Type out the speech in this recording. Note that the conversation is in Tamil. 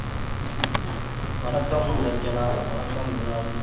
வணக்கம் ரஞ்சனா வணக்கம் குணால்